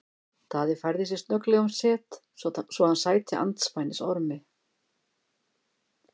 Daði færði sig snögglega um set svo hann sæti andspænis Ormi.